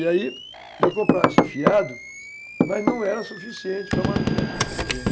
E aí, se eu comprasse fiado, mas não era suficiente para manter a minha